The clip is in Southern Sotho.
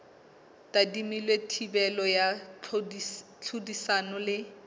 tadimilwe thibelo ya tlhodisano le